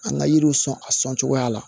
An ka yiriw sɔn a sɔn cogoya la